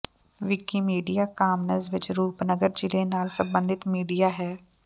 Wikimedia Commons ਵਿੱਚ ਰੂਪਨਗਰ ਜ਼ਿਲੇ ਨਾਲ ਸਬੰਧਤ ਮੀਡੀਆ ਹੈ